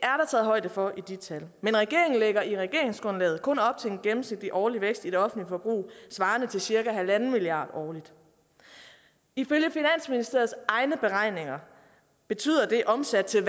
højde for i de tal men regeringen lægger i regeringsgrundlaget kun op til en gennemsnitlig årlig vækst i det offentlige forbrug svarende til cirka en milliard kroner årligt ifølge finansministeriets egne beregninger betyder det omsat til